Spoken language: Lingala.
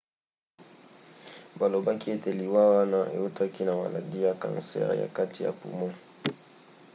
balobaki ete liwa wana eutaki na maladi ya kansere ya kati ya poumon